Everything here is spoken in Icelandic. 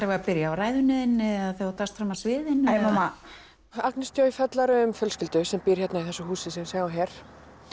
við að byrja á ræðunni þinni eða þegar þú dast fram af sviðinu eða æi mamma Agnes fjallar um fjölskyldu sem býr hérna í þessu húsi sem við sjáum hér